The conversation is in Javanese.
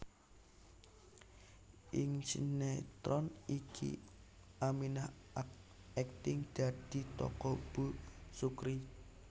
Ing sinétron iki Aminah akting dadi tokoh Bu Sukri